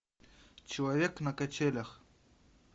человек на качелях